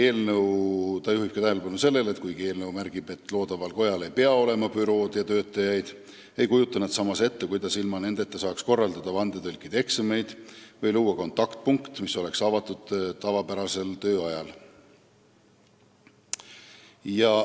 Ta juhtis tähelepanu ka sellele, et kuigi eelnõu märgib, et loodaval kojal ei pea olema bürood ja töötajaid, ei kujuta nad ette, kuidas ilma nendeta saaks korraldada vandetõlkide eksameid või luua kontaktpunkti, mis oleks avatud tavapärasel tööajal.